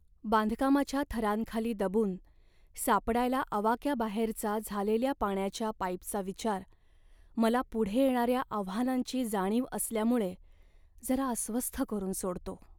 बांधकामाच्या थरांखाली दबून सापडायला आवाक्याबाहेरचा झालेल्या पाण्याच्या पाईपचा विचार मला पुढे येणाऱ्या आव्हानांची जाणीव असल्यामुळे जरा अस्वस्थ करून सोडतो.